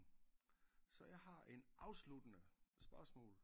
Så jeg har en afsluttende spørgsmål